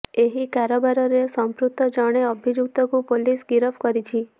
ଏହି କାରବାରରେ ସଂପୃକ୍ତ ଜଣେ ଅଭିଯୁକ୍ତକୁ ପୁଲିସ୍ ଗିରଫ କରିଛି